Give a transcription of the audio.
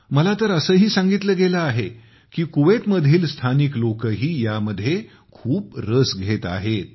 मला तर असेही सांगितले गेले आहे की कुवेतमधील स्थानिक लोकही यामध्ये खूप रस घेत आहेत